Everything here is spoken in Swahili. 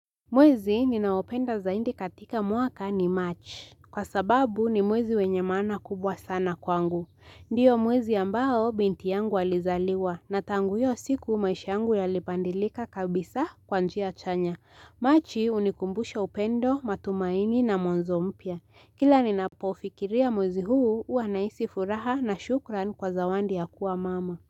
Mwezi ninaopenda zaindi katika mwaka ni March. Kwa sababu ni mwezi wenye maana kubwa sana kwangu. Ndiyo mwezi ambao binti yangu alizaliwa na tangu iyo siku maisha yangu yalipandilika kabisa kwa njia chanya. Marchi unikumbusha upendo, matumaini na mwanzo mpya. Kila ninapofikiria mwezi huu uanahisi furaha na shukran kwa zawandi ya kuwa mama.